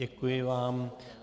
Děkuji vám.